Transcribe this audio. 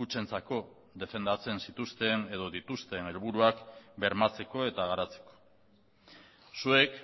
kutxentzako defendatzen zituzten edo dituzten helburuak bermatzeko eta garatzeko zuek